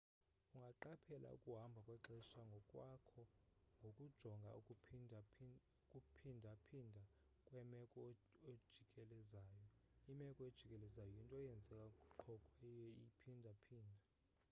ungaqaphela ukuhamba kwexesha ngokwakho ngokujonga ukuphindaphinda kwemeko ojikelezayo imeko ejikelezayo yinto eyenzeka qho kwayeiphinda phinde